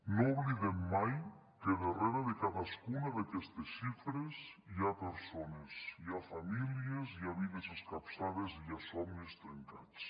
no oblidem mai que darrere de cadascuna d’aquestes xifres hi ha persones hi ha famílies hi ha vides escapçades i hi ha somnis trencats